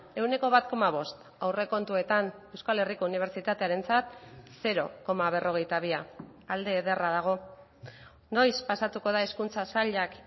ehuneko bat koma bost aurrekontuetan euskal herriko unibertsitatearentzat zero koma berrogeita bia alde ederra dago noiz pasatuko da hezkuntza sailak